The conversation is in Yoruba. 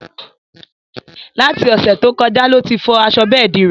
Láti Òsẹ̀ to kọjá lo tí fọ aṣọ bẹ́ẹ̀di rẹ̀